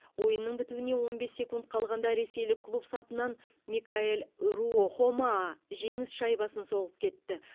ойынның бітуіне он бес секунд қалғанда ресейлік клуб сапынан микаэль руохомаа жеңіс шайбасын соғып кетті